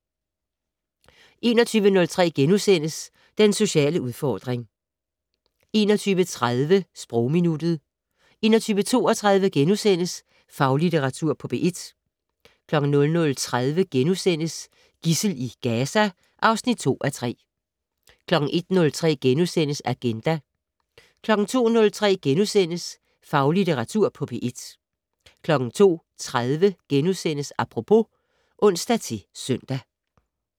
21:03: Den sociale udfordring * 21:30: Sprogminuttet 21:32: Faglitteratur på P1 * 00:30: Gidsel i Gaza (2:3)* 01:03: Agenda * 02:03: Faglitteratur på P1 * 02:30: Apropos *(ons-søn)